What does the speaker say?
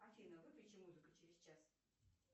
афина выключи музыку через час